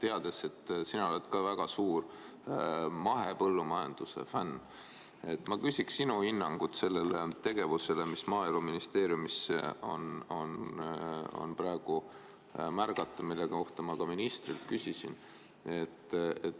Teades, et sina oled ka väga suur mahepõllumajanduse fänn, ma küsiks sinu hinnangut sellele tegevusele, mida Maaeluministeeriumis on praegu märgata ja mille kohta ma ka ministrilt küsisin.